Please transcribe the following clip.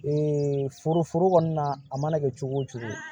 Ee foro foro kɔni na a mana kɛ cogo o cogo